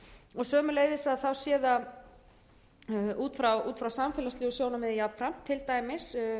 og sömuleiðs sé það út frá samfélagslegu sjónarmiði jafnframt til dæmis